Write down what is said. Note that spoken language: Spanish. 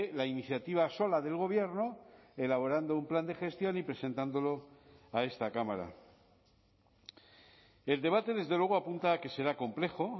la iniciativa sola del gobierno elaborando un plan de gestión y presentándolo a esta cámara el debate desde luego apunta a que será complejo